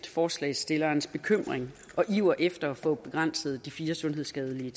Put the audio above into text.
forslagsstillernes bekymring og iver efter at få begrænset de fire sundhedsskadelige